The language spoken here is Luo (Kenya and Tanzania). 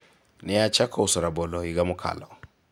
ne achako uso rabolo higa mokalo